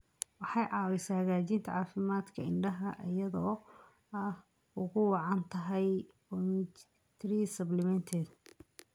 Waxay caawisaa hagaajinta caafimaadka indhaha iyada oo ay ugu wacan tahay omega-3 supplements.